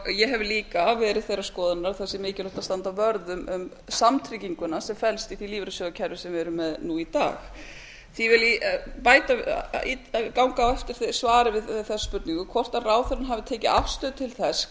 ég hef líka verið þeirrar skoðunar að það sé mikilvægt að standa vörð um samtrygginguna sem felst í því lífeyrissjóðakerfi sem við erum með nú í dag því vil ég ganga á eftir svari við þessum spurningum hvort ráðherrann hafi tekið afstöðu til þess